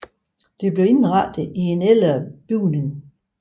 Det blev indrettet i ældre bygning